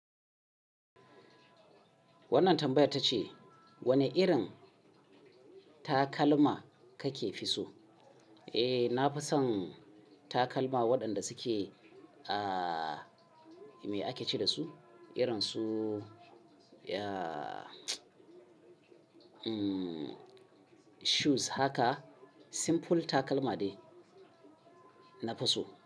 Wannan tambayar ta ce wane irin takalma kake fi so? Eh, na fi son takalma waɗanda suke, ah, me ake ce da su? Irin su, ya, mm, shoes haka simple takalma ne na fi so.